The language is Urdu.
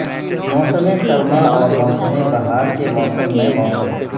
موسم سرما اور موسم بہار کے موسم میں موسم